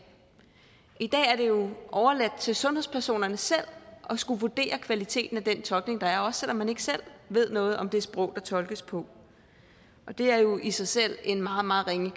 i dag er det jo overladt til sundhedspersonerne selv at skulle vurdere kvaliteten af den tolkning der er også selv om man ikke selv ved noget om det sprog der tolkes på og det er jo i sig selv en meget meget ringe